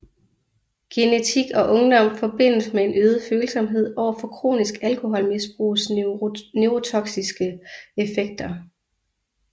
Genetik og ungdom forbindes med en øget følsomhed overfor kronisk alkoholmisbrugs neurotoksiske effekter